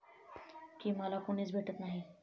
की मला कुणीच भेटत नाही.